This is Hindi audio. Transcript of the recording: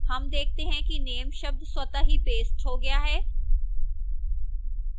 name देखते हैं कि name शब्द स्वतः ही pasted हो गया है